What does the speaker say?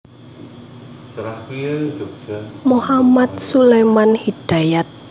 Mohamad Suleman Hidayat